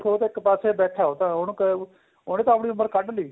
ਦੇਖੋ ਉਹ ਤਾਂ ਇੱਕ ਪਾਸੇ ਬੈਠਾ ਉਹ ਤਾਂ ਉਹਨੇ ਤਾਂ ਆਪਣੀ ਉਮਰ ਕੱਢ ਲਈ